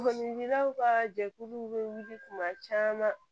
Sɔgɔninkɛlaw ka jɛkulu bɛ wuli kuma caman